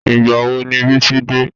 Ìgbà wo ni Bísí dé?